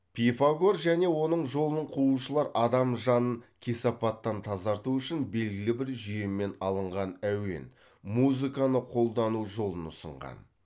пифагор жөне оның жолын қуушылар адам жанын кесапаттан тазарту үшін белгілі бір жүйемен алынған әуен музыканы қолдану жолын ұсынған